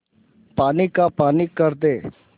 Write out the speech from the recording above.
पानी का पानी कर दे